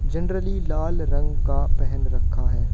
Generally लाल रंग का पहन रखा है।